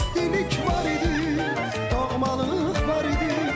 İstilik var idi, doğmalıq var idi.